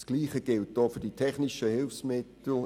Dasselbe gilt auch für die technischen Hilfsmittel.